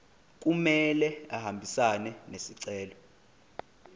kumele ahambisane nesicelo